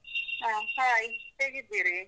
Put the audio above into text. ಹ Hai, ಹೇಗಿದ್ದೀರಿ?